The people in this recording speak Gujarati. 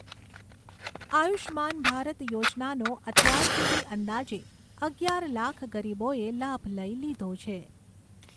આયુષ્માન ભારત યોજનાનો અત્યાર સુધી અંદાજે અગિયાર લાખ ગરીબોએ લાભ લઈ લીધો છે.